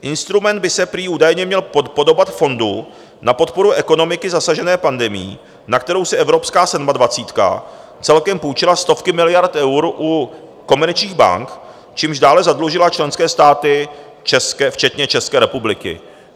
Instrument by se prý údajně měl podobat fondu na podporu ekonomiky zasažené pandemií, na kterou si evropská sedmadvacítka celkem půjčila stovky miliard eur u komerčních bank, čímž dále zadlužila členské státy včetně České republiky.